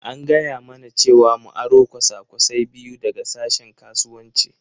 An gaya mana cewa mu aro kwasa-kwasai biyu daga sashen Kasuwanci.